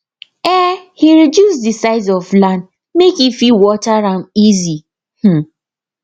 um e reduce the size of land make e fit water am easy um